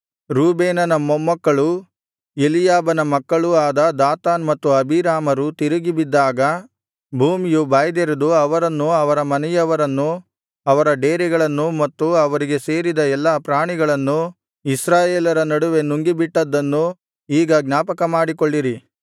ರೂಬೇನನ ಮೊಮ್ಮಕ್ಕಳೂ ಎಲೀಯಾಬನ ಮಕ್ಕಳೂ ಆದ ದಾತಾನ್ ಮತ್ತು ಅಬೀರಾಮರು ತಿರುಗಿ ಬಿದ್ದಾಗ ಭೂಮಿಯು ಬಾಯ್ದೆರೆದು ಅವರನ್ನೂ ಅವರ ಮನೆಯವರನ್ನೂ ಅವರ ಡೇರೆಗಳನ್ನೂ ಮತ್ತು ಅವರಿಗೆ ಸೇರಿದ ಎಲ್ಲಾ ಪ್ರಾಣಿಗಳನ್ನೂ ಇಸ್ರಾಯೇಲರ ನಡುವೆ ನುಂಗಿಬಿಟ್ಟದ್ದನ್ನೂ ಈಗ ಜ್ಞಾಪಕಮಾಡಿಕೊಳ್ಳಿರಿ